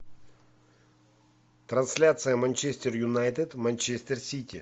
трансляция манчестер юнайтед манчестер сити